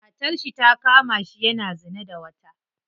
Matarshi ta kamashi yana zina da wata.